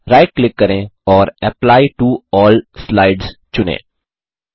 right click करें और apply to all slides चुनें